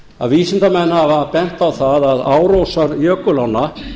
að vísindamenn hafa bent á það að árósar jökulánna